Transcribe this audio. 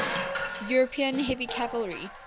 european heavy cavalry